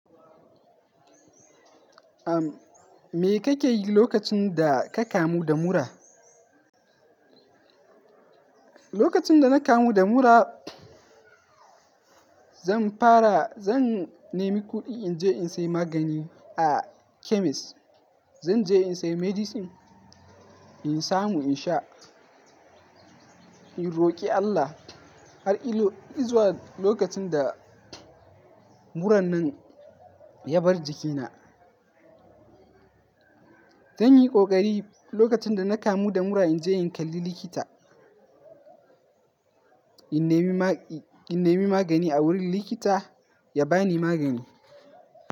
Ahm, me kake yi lokacin da ka kamu da mura? Lokacin da na kamu da mura, zan fara zan nemi kuɗi in je in sayi magani a chemist. Zan je in sayi medicine, in samu in sha. In roƙi Allah har ido izuwa lokacin da muran nan ya bar jikina. Zanyi ƙoƙari lokacin da na kamu da mura in je in kalli likita. In nemi magani a wurin likita ya bani magani.